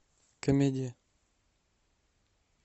комедия